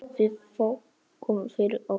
Við þökkum fyrir okkur.